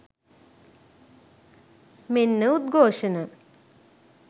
මෙන්න උද්ඝෝෂණ!